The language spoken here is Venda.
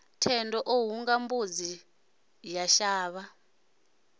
thendo o hunga mbudzi yashavha